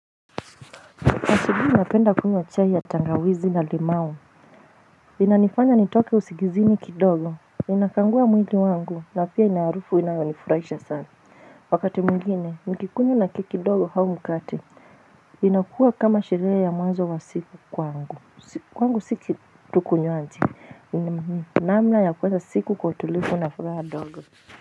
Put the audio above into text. Asubuhi napenda kunywa chai ya tangawizi na limau, inanifanya nitoke usingizini kidogo, inakagua mwili wangu, na pia inaharufu inayonifurahisha sana, wakati mwingine, nikikunywa na keki dogo au mkate, inakuwa kama sherehe ya mwanzo wa siku kwangu namna ya kuanza siku kwa itulivu na furaha dogo.